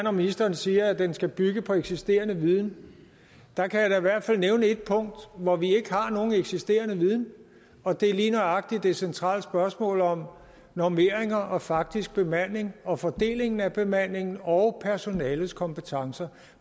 at ministeren siger at den skal bygge på eksisterende viden der kan jeg da i hvert fald nævne et punkt hvor vi ikke har nogen eksisterende viden og det er lige nøjagtig hvad angår det centrale spørgsmål om normering og faktisk bemanding og fordelingen af bemandingen og personalets kompetencer